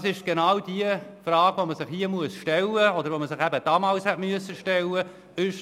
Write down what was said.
Das ist genau die Frage, die man sich hier stellen muss, respektive die man sich damals hätte stellen müssen: